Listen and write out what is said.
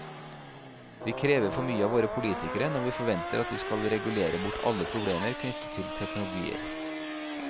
Vi krever for mye av våre politikere når vi forventer at de skal regulere bort alle problemer knyttet til teknologier.